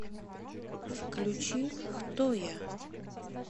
включи хто я